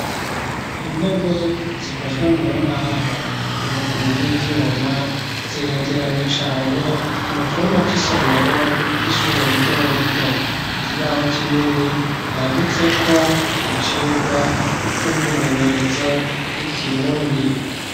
Intebe zikozwe mu mbaho amaguru y'ivyuma ziregeranye cane mu cumba c'isomero r'ishurelito rito igibaho cinini yanditseko icirwa c'umwimenyerezo w'ikirundi.